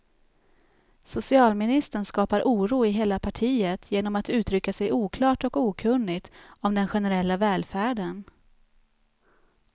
Socialministern skapar oro i hela partiet genom att uttrycka sig oklart och okunnigt om den generella välfärden.